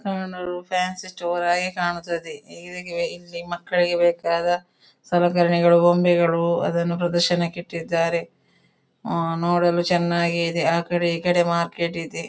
ಕಾಣಲು fancy store ಹಾಗೆ ಕಾಣುತ್ತದೆ ಇದಕ್ಕೆ ಇಲ್ಲಿ ಮಕ್ಕಳಿಗೆ ಬೇಕಾದ ಸಲಕರಣೆಗಳು ಬೊಂಬೆಗಳು ಅದನ್ನು ಪ್ರದರ್ಶನಕ್ಕೆ ಇಟ್ಟಿದ್ದಾರೆ ಅಂ ನೋಡಾಲು ಚೆನ್ನಾಗಿ ಇದೆ ಆ ಕಡೇ ಈ ಕಡೆ ಮಾರ್ಕೆಟ್ ಇದೆ.